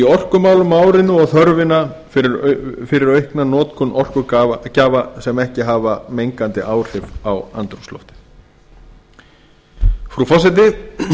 orkumálum á árinu og þörfina fyrir aukna notkun orkugjafa sem ekki hafa mengandi áhrif á andrúmsloftið frú forseti